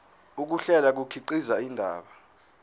ukuhlela kukhiqiza indaba